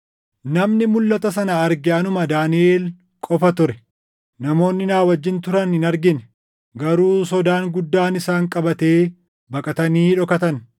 Namni mulʼata sana arge anuma Daaniʼel qofa ture; namoonni na wajjin turan hin argine; garuu sodaan guddaan isaan qabatee baqatanii dhokatan.